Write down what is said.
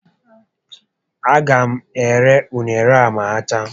A ga m ere unere a ma ha chaa